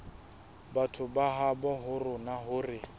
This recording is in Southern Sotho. batho ba habo rona hore